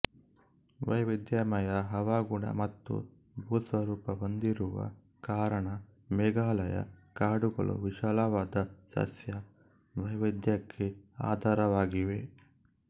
ವೈವಿಧ್ಯಮಯ ಹವಾಗುಣ ಮತ್ತು ಭೂಸ್ವರೂಪ ಹೊಂದಿರುವ ಕಾರಣ ಮೇಘಾಲಯ ಕಾಡುಗಳು ವಿಶಾಲವಾದ ಸಸ್ಯ ವೈವಿಧ್ಯಕ್ಕೆ ಆಧಾರವಾಗಿವೆ